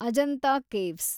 Ajanta caves